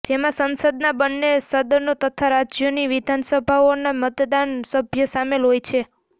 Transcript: જેમાં સંસદના બન્ને સદનો તથા રાજ્યોની વિધાનસભાઓના મતદાન સભ્ય સામેલ હોય છે